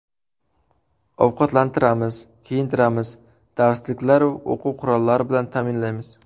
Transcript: Ovqatlantiramiz, kiyintiramiz, darsliklaru o‘quv-qurollari bilan ta’minlaymiz.